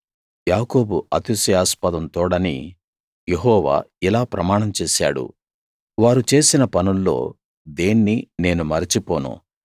యాకోబు అతిశయాస్పదం తోడని యెహోవా ఇలా ప్రమాణం చేశాడు వారు చేసిన పనుల్లో దేన్నీ నేను మరచిపోను